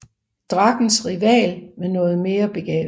Drakkens rival men noget mere begavet